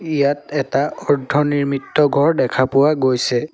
ইয়াত এটা অৰ্ধ নিৰ্মিত ঘৰ দেখা গৈছে।